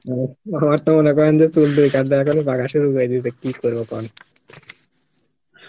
আমার তো মনে করেন যে চুল দাড়ি পাকা শুরু করে দিছে তো কি করবো কন?